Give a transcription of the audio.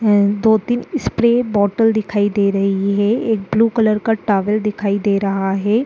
ए दो तीन spray bottle दिखाई दे रही हैं। एक ब्लू कलर का टॉवल दिखाई दे रहा है।